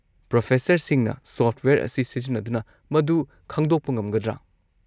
ꯄ꯭ꯔꯣꯐꯦꯁꯔꯁꯤꯡꯅ software ꯑꯁꯤ ꯁꯤꯖꯤꯟꯅꯗꯨꯅ ꯃꯗꯨ ꯈꯪꯗꯣꯛꯄ ꯉꯝꯒꯗ꯭ꯔꯥ?